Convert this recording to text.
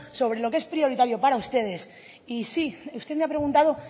sobre lo que es prioritario para ustedes y sí usted me ha preguntado